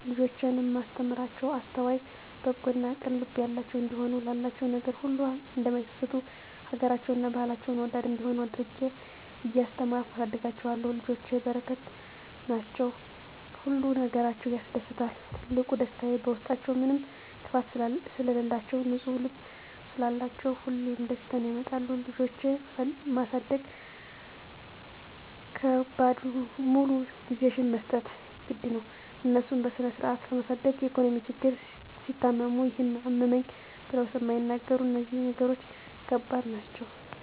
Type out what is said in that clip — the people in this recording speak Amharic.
ልጆቼን እማስተምራቸዉ አስተዋይ፣ በጎ እና ቅን ልብ ያላቸዉ እንዲሆኑ፣ ላላቸዉ ነገር ሁሉ እማይሳስቱ፣ ሀገራቸዉን እና ባህላቸዉን ወዳድ እንዲሆነ አድርጌ እያስተማርኩ አሳድጋቸዋለሁ። ልጆች በረከት ናቸዉ። ሁሉ ነገራቸዉ ያስደስታል ትልቁ ደስታየ በዉስጣችዉ ምንም ክፋት ስለላቸዉ፣ ንፁ ልብ ስላላቸዉ ሁሌም ደስታን ያመጣሉ። ልጆች ማሳደግ ከባዱ ሙሉ ጊዜሽን መስጠት ግድ ነዉ፣ እነሱን በስነስርአት ለማሳደግ የኢኮኖሚ ችግር፣ ሲታመሙ ይሄን አመመኝ ብለዉ ስለማይናገሩ እነዚህ ነገሮች ከባድ ናቸዉ።